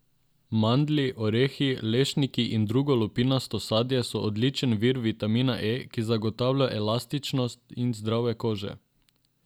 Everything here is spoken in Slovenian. Mandlji, orehi, lešniki in drugo lupinasto sadje so odličen vir vitamina E, ki zagotavlja elastičnost in zdravje kože.